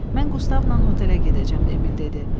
Mən Qustavla hotelə gedəcəm, Emil dedi.